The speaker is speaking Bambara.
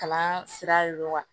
Kalan sira de do wa